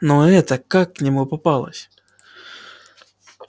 но эта как к нему попалась